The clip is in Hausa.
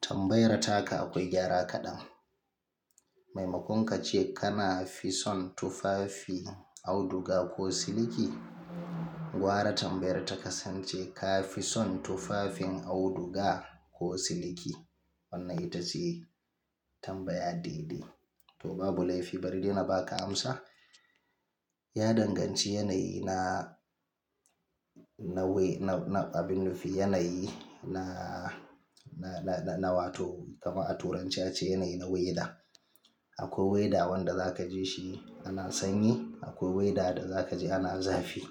Tambayar taka akwai gyara kaɗan. Maimakon kace kana fi son tufafi auduga ko siliki, gwara tambayar takasance ka fi son tufafin auduga ko siliki? Wannan ita ce tambaya daidai. To babu laifi bari de na baka amsa. Ya danganci yanayi na, na, na, abin nufi yanayi na, na, na, na wato kama a turance ake cewa yanayi na weda. Akwai weda wanda zaka ji shi ana sanyi, akwai weda da zaka ji ana zafi.